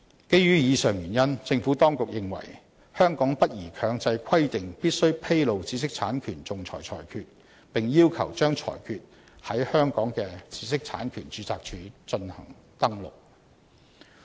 基於以上原因，政府當局認為香港不宜強制規定必須披露知識產權仲裁裁決，並要求把裁決在香港的知識產權註冊處進行登錄。